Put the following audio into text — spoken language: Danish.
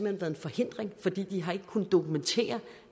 en forhindring fordi de ikke har kunnet dokumentere